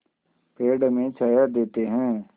पेड़ हमें छाया देते हैं